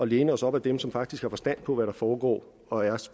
læne os op ad dem som faktisk har forstand på hvad der foregår og er